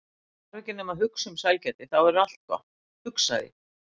Hann þarf ekki nema að hugsa um sælgæti þá verður allt gott, hugsaði